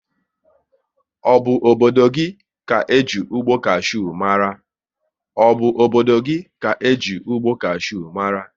Ọ bụ obodo ka eji ụgbọ kashew mara?